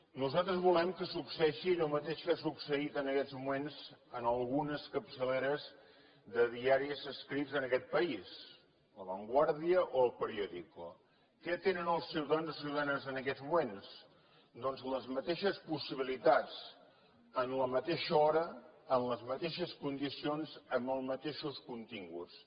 nosaltres volem que succeeixi allò mateix que ha succeït en aquests moments en algunes capçaleres de diaris escrits en aquest país la vanguardiaquè tenen els ciutadans i les ciutadanes en aquests moments doncs les mateixes possibilitats en la mateixa hora en les mateixes condicions amb els mateixos continguts